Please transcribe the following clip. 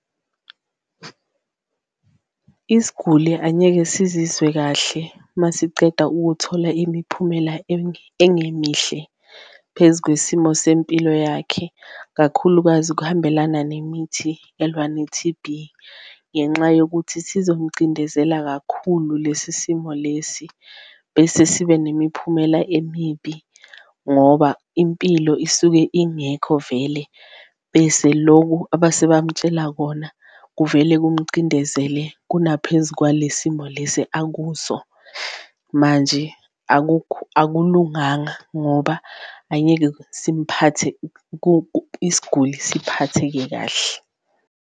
Isguli angeke sizizwe kahle masiceda ukuthola imiphumela engemihle phezu kwesimo sempilo yakhe, kakhulukazi kuhambelana nemithi elwa ne-T_B ngenxa yokuthi sizomcindezela kakhulu lesi simo lesi, bese sibe nemiphumela emibi. Ngoba impilo isuke ingekho vele bese loku abasebamtshela kona kuvele kumcindezele kunaphezu kwale simo lesi akuso, manje akulunganga ngoba angeke simphathe isiguli siphatheke kahle.